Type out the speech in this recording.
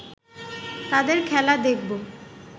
তাদের খেলা দেখবো